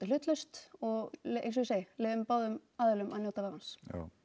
hlutlaust og eins og ég segi leyfum báðum aðilum að njóta vafans